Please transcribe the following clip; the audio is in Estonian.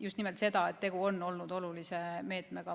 just nimelt seda, et tegu on olnud olulise meetmega.